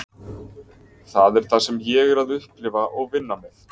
Það er það sem ég er að upplifa og vinna með.